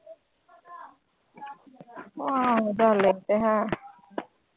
ਆਹ ਚੱਲ ਇਹ ਤੇ ਹੈ